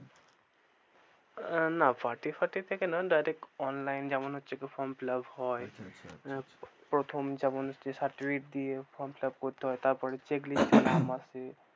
না party ফার্টি থেকে না direct online যেমন হচ্ছে কি form fill up হয়, প্রথম যেমন হচ্ছে certificate দিয়ে form fill up করতে হয় তারপরে checklist এ নাম আসে।